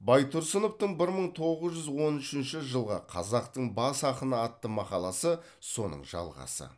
байтұрсыновтың бір мың тоғыз жүз он үшінші жылғы қазақтың бас ақыны атты мақаласы соның жалғасы